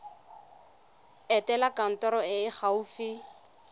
etela kantoro e e gaufi